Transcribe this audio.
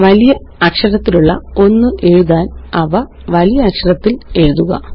വലിയ അക്ഷരത്തിലുള്ള ഒന്നെഴുതാന് അവ വലിയ അക്ഷരത്തില് എഴുതുക